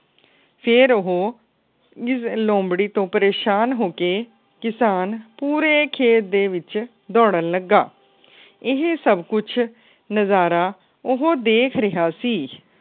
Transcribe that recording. ਫੇਰ ਉਹ ਇਸ ਲੋਮਬੜ੍ਹੀ ਤੋਂ ਪਰੇਸ਼ਾਨ ਹੋ ਕੇ ਕਿਸਾਨ ਪੂਰੇ ਖੇਤ ਦੇ ਵਿੱਚ ਦੌੜਣ ਲੱਗਾ। ਇਹ ਸਬ ਕੁੱਜ ਨਜਾਰਾ ਉਹ ਦੇਖ ਰਿਹਾ ਸੀ।